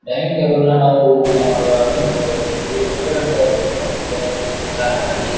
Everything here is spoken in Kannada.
ಡೈನಿಂಗ್ ಟೇಬಲ್ ನಾ ನಾವು ಊಟ ಮಾಡುವಾಗ ಅದು ಉಪಯೋಗಿಸುತ್ತೀವಿ. ರೆಸ್ಟೋರೆಂಟ್ ಒಳಗ ಅಂತೂ ಡೈನಿಂಗ್ ಟೇಬಲ್ ನ ಸಿಂಗಾರ ಮಾಡಿ--